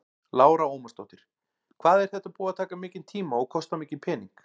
Lára Ómarsdóttir: Hvað er þetta búið að taka mikinn tíma og kosta mikinn pening?